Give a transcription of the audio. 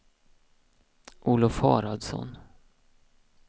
Olof Haraldsson